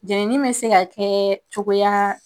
Jenini bɛ se ka kɛ cogoya